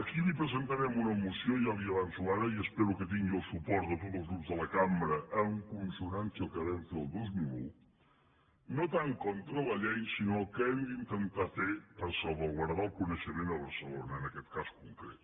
aquí li pre·sentarem una moció ja li ho avanço ara i espero que tingui el suport de tots els grups de la cambra en con·sonància amb el que vam fer el dos mil un no tant contra la llei sinó del que hem d’intentar fer per salvaguardar el coneixement a barcelona en aquest cas concret